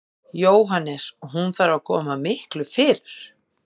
Jóhannes: Og hún þarf að koma miklu fyrr?